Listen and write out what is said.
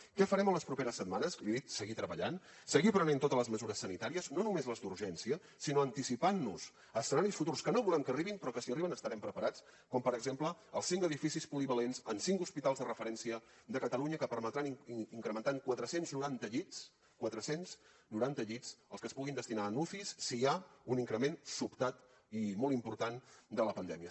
què farem en les properes setmanes li he dit seguir treballant seguir prenent totes les mesures sanitàries no només les d’urgència sinó anticipant nos a escenaris futurs que no volem que arribin però que si arriben estarem preparats com per exemple els cinc edificis polivalents en cinc hospitals de referència de catalunya que permetran incrementar en quatre cents i noranta llits quatre cents i noranta llits els que es puguin destinar a ucis si hi ha un increment sobtat i molt important de la pandèmia